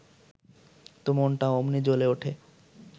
তো মনটা অমনি জ্বলে উঠে